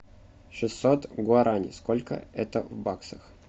шестьсот гуарани сколько это в баксах